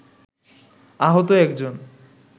আহত একজন